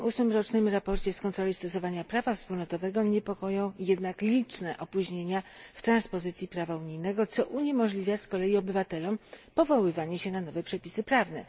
28. rocznym sprawozdaniu z kontroli stosowania prawa wspólnotowego niepokoją jednak liczne opóźnienia w transpozycji prawa unijnego, co uniemożliwia z kolei obywatelom powoływanie się na nowe przepisy prawne.